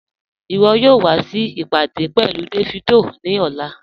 Iwọ̀ yóò wà sí ìpádé pẹ̀lú Davido ni ọ̀lá